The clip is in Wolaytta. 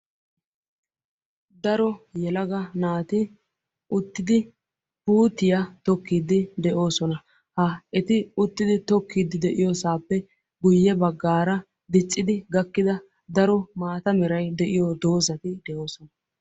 daro yelaga naati uttidi puutiya tokkiiddi de'oosona. ha eti uttidi tokkiiddi de'iyosaappe diccidi gakkida daro maata meray de'iyo dozzati de'oosona.